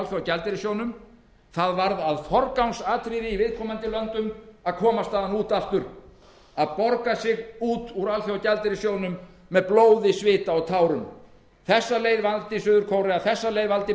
alþjóðagjaldeyrissjóðnum það varð að forgangsatriði í viðkomandi löndum að komast þaðan út aftur að borga sig út úr alþjóðagjaldeyrissjóðnum með blóði svita og tárum þá leið valdi suður kórea þá leið